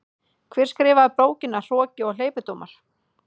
Hver skrifaði bókina Hroki og hleypidómar?